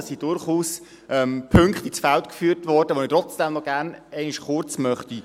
Es wurden durchaus Punkte ins Feld geführt, die ich gerne kurz aufgreifen möchte.